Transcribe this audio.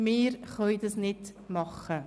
Wir können das nicht machen.